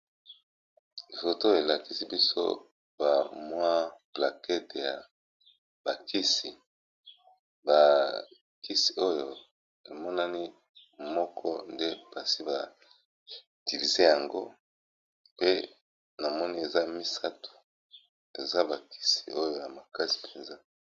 Photo elakisi biso bamwa plakete ya bakisi bakisi oyo emonani moko nde mpasi bativize yango pe na moni eza misato eza bakisi oyo na makasi mpenza.